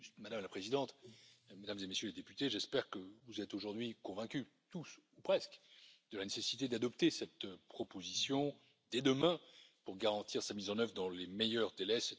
Madame la Présidente, Mesdames et Messieurs les députés, j'espère que vous êtes aujourd'hui convaincus, tous ou presque, de la nécessité d'adopter cette proposition dès demain pour garantir sa mise en œuvre dans les meilleurs délais.